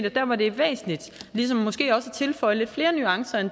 at der hvor det er væsentligt at tilføje lidt flere nuancer